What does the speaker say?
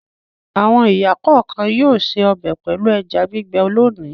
Àwọn ìyá kọ̀ọ̀kan yóò se ọbẹ̀ pẹ̀lú ẹja gbígbẹ́ lónìí.